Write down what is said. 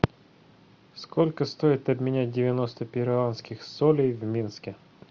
сколько стоит обменять девяносто перуанских солей в минске